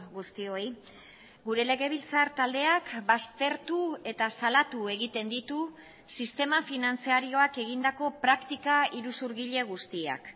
guztioi gure legebiltzar taldeak baztertu eta salatu egiten ditu sistema finantzarioak egindako praktika iruzurgile guztiak